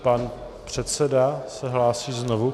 Pan předseda se hlásí znovu.